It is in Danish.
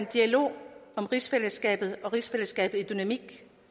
dialog om rigsfællesskabet og rigsfællesskabets dynamik